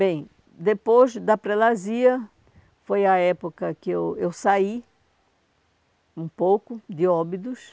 Bem, depois da prelasia, foi a época que eu eu saí um pouco de óbidos.